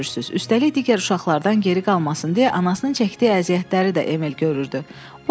Üstəlik digər uşaqlardan geri qalmasın deyə anasının çəkdiyi əziyyətləri də Emil görürdü.